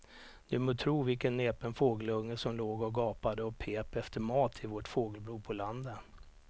Du må tro vilken näpen fågelunge som låg och gapade och pep efter mat i vårt fågelbo på landet.